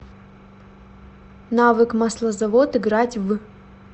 навык маслозавод играть в